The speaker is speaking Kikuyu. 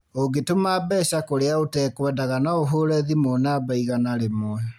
ũngĩtũma mbeca kũrĩa ũtekwendaga no ũhũre thimũ namba igana rĩmwe